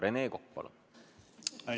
Rene Kokk, palun!